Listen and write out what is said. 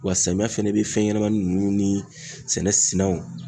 Wa samiya fɛnɛ bɛ fɛn ɲɛnɛmani ninnu ni sɛnɛw